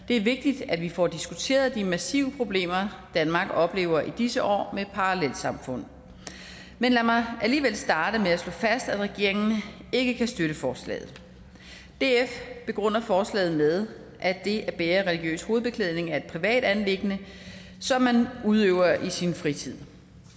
det er vigtigt at vi får diskuteret de massive problemer danmark oplever i disse år med parallelsamfund men lad mig alligevel starte med at slå fast at regeringen ikke kan støtte forslaget df begrunder forslaget med at det at bære religiøs hovedbeklædning er et privat anliggende som man udøver i sin fritid